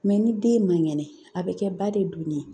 ni den man kɛnɛ a bɛ kɛ ba de doni ye